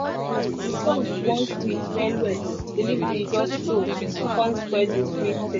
as the song wan sweet well well delivery just show kon spoil the sweet thing